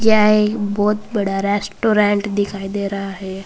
यह एक बहुत बड़ा रेस्टोरेंट दिखाई दे रहा है।